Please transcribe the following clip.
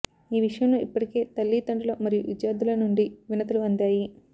ఈ విషయంలో ఇప్పటికే తల్లిదండ్రులు మరియు విద్యార్థుల నుండి వినతులు అందాయి